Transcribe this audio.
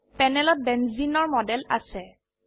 প্যানেলত বেঞ্জেনে বেঞ্জিন এৰ মডেল আছে